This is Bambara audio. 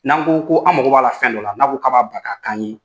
N'an ko ko an' mago b'a la fɛn dɔ la, n'a ko k'a b'a bila k'a k'an ye